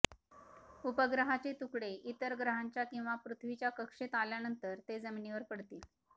उपग्रहाचे तुकडे इतर ग्रहांच्या किंवा पृथ्वीच्या कक्षेत आल्यानंतर ते जमिनीवर पडतील